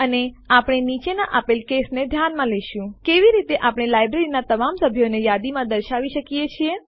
અને આપણે નીચે આપેલ કેસને ધ્યાનમાં લેશું કેવી રીતે આપણે લાઈબ્રેરીનાં તમામ સભ્યોને યાદીમાં દર્શાવી શકીએ